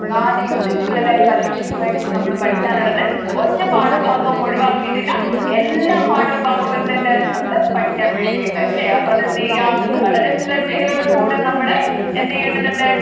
നാല് unit കളിലായി പരീക്ഷക്ക് വേണ്ടീട്ട് നമ്മൾ പഠിക്കാനുള്ളത് ഒരു പാഠഭാഗവും ഒഴിവാക്കിയിട്ടില്ല എല്ലാ പാഠഭാഗവും എന്തുണ്ട് നമ്മുക്ക് പഠിക്കാൻ വേണ്ടിയുണ്ട് അല്ലെ അപ്പൊ അത് എന്ത്ചെയ്യുക വളരെ ശ്രദ്ധയോട് കൂടെ നമ്മൾ എന്തുചെയ്യേണ്ടതുണ്ട്